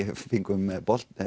við fengum